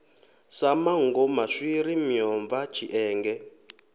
sa manngo maswiri miomva tshienge